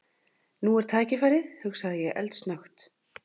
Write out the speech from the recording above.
Nú er tækifærið hugsaði ég eldsnöggt.